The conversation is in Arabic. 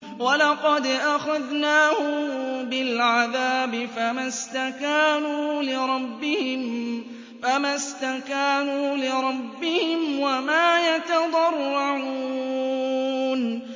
وَلَقَدْ أَخَذْنَاهُم بِالْعَذَابِ فَمَا اسْتَكَانُوا لِرَبِّهِمْ وَمَا يَتَضَرَّعُونَ